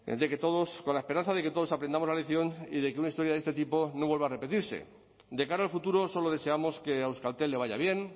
con la esperanza de que todos aprendamos la lección y de que una historia de este tipo no vuelva a repetirse de cara al futuro solo deseamos que a euskaltel le vaya bien